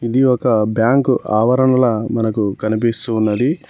ఇది ఒక బ్యాంక్ ఆవరణంలా మనకు కనిపిస్తూ ఉన్నది.